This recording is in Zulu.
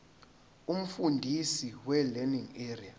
umfundisi welearning area